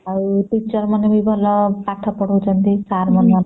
ଆଉ teacher ମାନେ ବି ଭଲ ପାଠ ପଢ଼ାଉଛନ୍ତି ସାର ମାନେ ବି ଭଲ